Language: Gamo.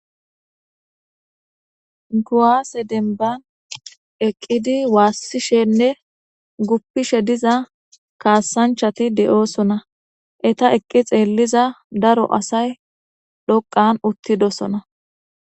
Guaase denban eqqidi waassishenne guppishe diza kaassanchati de'oosona eta eqqi xeelliza daro asay dhoqan uttidosona